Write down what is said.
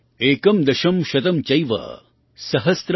एकं दशं शतं चैव सहस्त्रम अयुतं तथा